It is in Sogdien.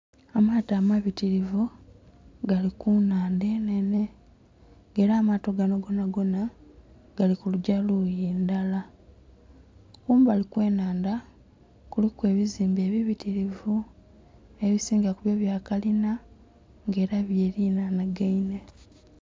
Amaato amabitirivu gali ku nnhaanda enene nga era amaato gano gonagona gali kugya luyi lulala. Kumbali okwo nnhaanda kuliku ebizimbe ebibitirivu. Ebisinga ku yo bya kalina era byeriranagaine